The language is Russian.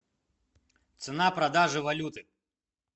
цена продажи валюты